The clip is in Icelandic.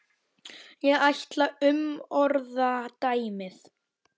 Ég ætla að umorða dæmið.